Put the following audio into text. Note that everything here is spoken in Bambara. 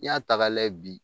N'i y'a ta k'a layɛ bi